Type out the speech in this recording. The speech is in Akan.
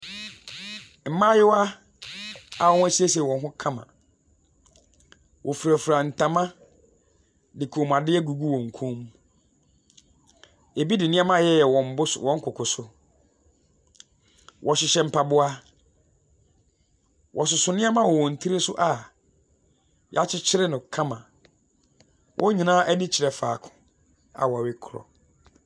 Mmayewa a wɔasiesie wɔn ho kama. Wɔfirafira ntoma de kɔmmuadeɛ agugu wɔn kɔn mu. Ebi de nneɛma ayeyɛyeyɛ wɔn bo wɔn koko so. Wɔhyehyɛ mpaboa. Wɔsoso nneɛma wɔ wɔn tiri so a wɔakyekyere no kama. Wɔn nyinaa ani kyerɛ faako.